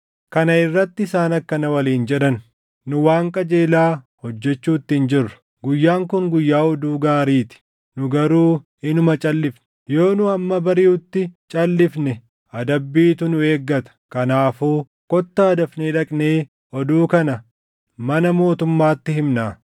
Kana irratti isaan akkana waliin jedhan; “Nu waan qajeelaa hojjechuutti hin jirru; guyyaan kun guyyaa oduu gaarii ti; nu garuu inuma calʼifne. Yoo nu hamma bariʼutti calʼifne adabbiitu nu eeggata. Kanaafuu kottaa dafnee dhaqnee oduu kana mana mootummaatti himnaa.”